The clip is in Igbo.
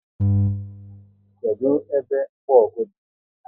Kedụ ebe mgbogu dị?